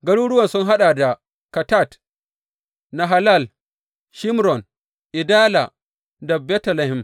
Garuruwan sun haɗa da Kattat, Nahalal, Shimron, Idala da Betlehem.